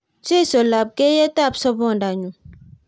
Jesu lapkeiyetab sobondanyu